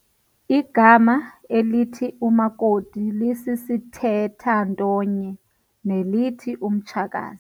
Igama elithi umakoti lisisithethantonye nelithi umtshakazi.